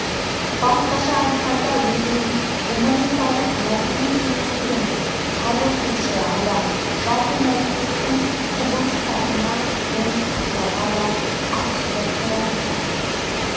басқаша айтқанда өзінің гуманитарлық мәдени кеңістігін тарылтушы адам жалпы мәдениеттің құбылыстарына оны сақтауға да атүсті қарайды